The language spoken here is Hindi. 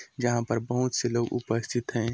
जहाँ पर बहुत से लोग उपस्थित है।